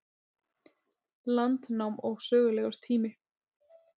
Landnám og sögulegur tími.